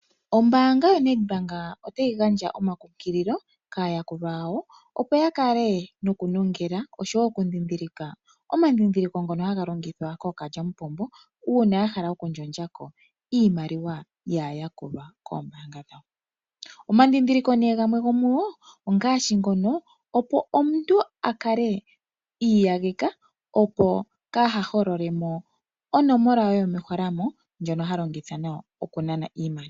Ombaanga yonedbank otayi gandja omankukililo kaayakulwa yawo opo yakale nokunongela osho wo okudhidhilika omadhidhiliko ngono haga longithwa kookalyamupombo uuna yahala okuyakako iimaliwa yaayqkulwa koombaangq dhawo. Omandhidhiliko gamwe gomugo okwiiyageka okugandja onomola dhawo dhomeholamo ndhoka haa longitha okunana iimaliwa.